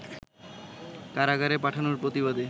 কারাগারে পাঠানোর প্রতিবাদে